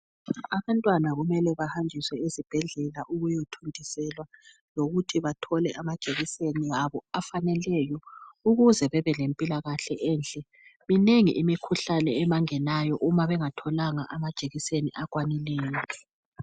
Abantwana kumele bahanjiswe ezibhedlela ukuyathontiselwa lokuthi bathole amajekiseni abo afaneleyo ukuze babelempilakahle enhle. Minengi imikhuhlane ebangenayo uma bengatholanga amajekiseni akwanileyo.